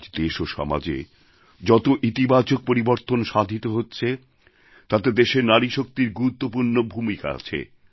আজ দেশ ও সমাজে যত ইতিবাচক পরিবর্তন সাধিত হচ্ছে তাতে দেশের নারীশক্তির গুরুত্বপূর্ণ ভূমিকা আছে